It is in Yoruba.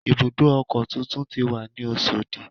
Ibùdó ọkọ̀ tuntun ti wà ní Oṣòdì